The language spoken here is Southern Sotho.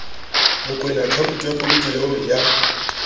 mokoena akhaonto ya polokelo ya